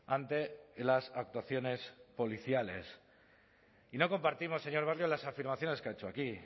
ante las actuaciones policiales y no compartimos señor barrio las afirmaciones que ha hecho aquí